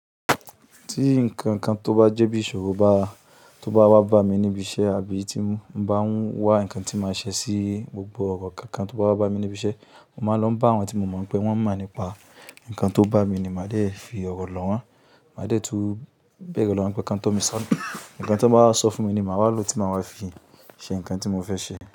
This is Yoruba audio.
Tí nǹkan tó bá jẹ́ bí ìṣòro bá, tó bá wá bá mi níbi iṣẹ́ àbí tí ń bá ń wá ǹkan tí màá ṣe sí gbogbo ọ̀rọ̀ kankan tó bá wá bá mi níbi iṣẹ́, mo máa ń lọ bá àwọn tí mo mọ̀ pé wọ́n mọ̀ nípa nǹkan tó bá mi ni màá dẹ̀ fi ọ̀rọ̀ lọ́wọ́., màá dẹ̀ túù bẹ̀rẹ̀ lọ́wọ́ pé nǹkan tó mi sọnù. Ǹǹkan tó bá wá sọ fún mi ni màá wá lo tí màá wá fi ṣe nǹkan tí mo fẹ́ ṣe.